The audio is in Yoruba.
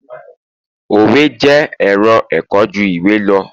òwe jé ẹrọ ẹkọ ju iwe lọ